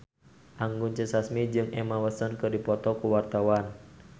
Anggun C. Sasmi jeung Emma Watson keur dipoto ku wartawan